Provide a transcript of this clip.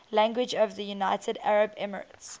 languages of the united arab emirates